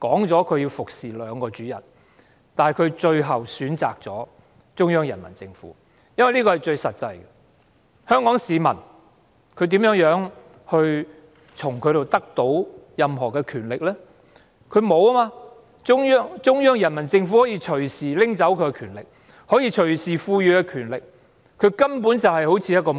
這是由於一個實際原因所致，便是香港市民無法奪去她手中的權力，但中央人民政府卻可以隨時奪去她手中的權力，亦可以隨時賦予她更大權力，她便一如婢女般。